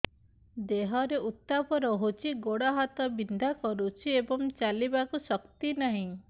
ଦେହରେ ଉତାପ ରହୁଛି ଗୋଡ଼ ହାତ ବିନ୍ଧା କରୁଛି ଏବଂ ଚାଲିବାକୁ ଶକ୍ତି ନାହିଁ